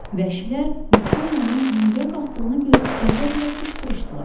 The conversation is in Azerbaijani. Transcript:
Vəhşilər Viktorianın hündürə qalxdığını görüb qəzəblə qışqırışdılar.